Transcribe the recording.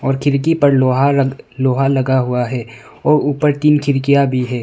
खिड़की पर लोहार लोहा लगा हुआ है और ऊपर तीन खिड़कियां भी है।